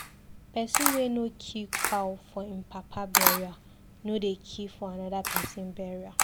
Pesin wey no kill cow for im papa burial no dey kill for another pesin burial.